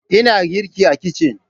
Ina girki a kicin.